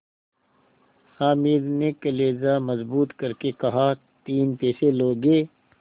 हामिद ने कलेजा मजबूत करके कहातीन पैसे लोगे